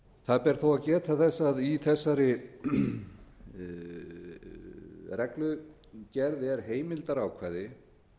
það ber þó að geta þess að í þessari reglugerð er heimildarákvæði